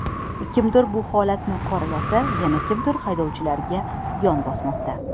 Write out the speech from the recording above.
Kimdir bu holatni qoralasa, yana kimdir haydovchilarga yon bosmoqda.